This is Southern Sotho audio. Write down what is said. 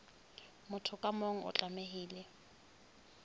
motho ka mong o tlamehile